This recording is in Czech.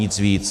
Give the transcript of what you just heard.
Nic víc.